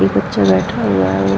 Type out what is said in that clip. एक बच्चा बैठा हुआ है वो --